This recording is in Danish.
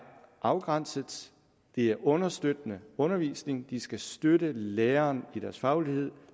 afgrænset det er understøttende undervisning de skal støtte lærerne i deres faglighed